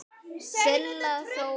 Silla Þóra.